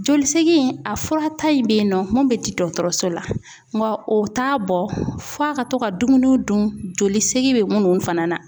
Joli segin a fura ta in bɛ yen nɔ mun bɛ di dɔgɔtɔrɔso la wa o t'a bɔ f'a ka to ka dumuni dun joli segin bɛ minnu fana na .